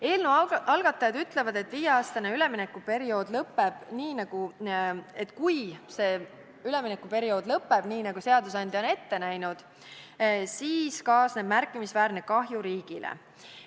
Eelnõu algatajad ütlevad, et kui viie aasta pikkune üleminekuperiood lõppeb nii, nagu seadusandja on ette näinud, siis kaasneb märkimisväärne kahju riigile.